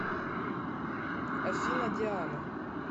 афина диана